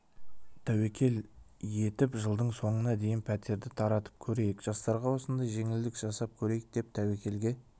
тәуекел етіп жылдың соңына дейін пәтерді таратып көрейік жастарға осындай жеңілдік жасап көрейік деп тәуекелге